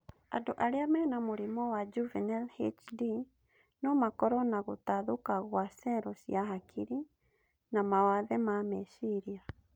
Andũ arĩa mena mũrimũ wa juvenile HD no makorwo na gũtathũka gwa cero cia hakiri, na mawathe ma meciria